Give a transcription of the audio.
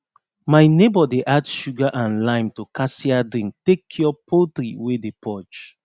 my neighbor dey add sugar and lime to cassia drink take cure poultry wey dey purge